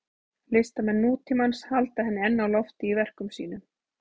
Listamenn nútímans halda henni enn á lofti í verkum sínum.